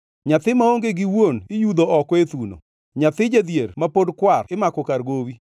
Nyathi maonge gi wuon iyudho oko e thuno; nyathi jadhier ma pod kwar imako kar gowi.